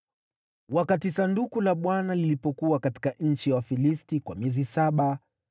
Sanduku la Bwana lilipokuwa limekaa katika nchi ya Wafilisti kwa miezi saba,